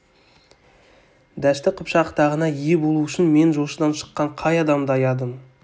дәшті қыпшақ тағына ие болу үшін мен жошыдан шыққан қай адамды аядым